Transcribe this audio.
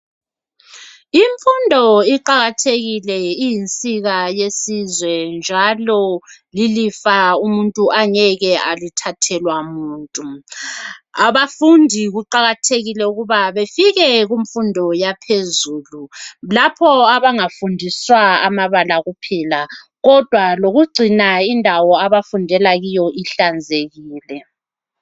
Imfundo iqakathekile. Iyinsika yesizwe, njalo lilifa umuntu angeke alithathelwa muntu. Abafundi kuqakathekile ukuba bafike kumfundo yaphezulu. Lapha abangafundi amabala kuphela, kodwa lokugcina indawo abafundela kuyo ihlanzekile.